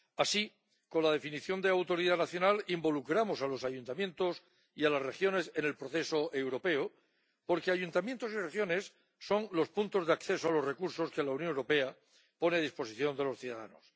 Así, con la definición de autoridad nacional involucramos a los ayuntamientos y a las regiones en el proceso europeo, porque ayuntamientos y regiones son los puntos de acceso a los recursos que la Unión Europea pone a disposición de los ciudadanos.